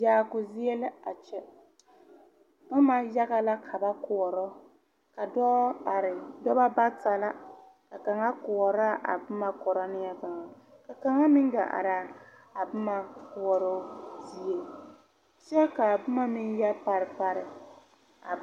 Yaaku zie la a kyɛ. Boma yaga la ka ba koɔro. Ka dɔɔ are. Noba bata na. Ka kanga koɔra a boma koro neɛ kanga. Ka kanga meŋ gaa are a boma koɔroo zie. Kyɛ ka a boma meŋ yoɔ pare pare a